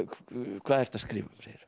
hvað ertu að skrifa